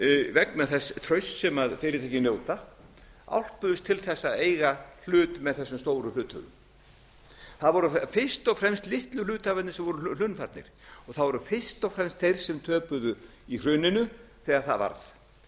vegna þess trausts sem fyrirtækin njóta álpuðust til þess að eiga hlut með þessum stóru hluthöfum það voru fyrst og fremst litlu hluthafarnir sem voru hlunnfarnir það voru fyrst og fremst þeir sem töpuðu í hruninu þegar það varð